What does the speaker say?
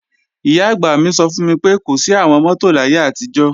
Ìyá-àgbà mi sọ fún mi pé, kò sí àwọn mọ́tò láyé àtijọ́